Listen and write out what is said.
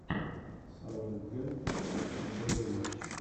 саутгемптон футбольные матчи